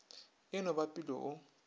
e no ba pilo o